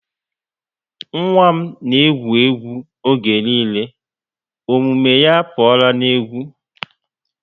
Nwa m na egwu egwu oge niile. omume ya apuola n'egwu